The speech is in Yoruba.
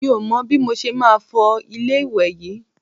Mi ò mọ bí mo ṣe máa ṣe fọ ilé ìwẹ̀ yí.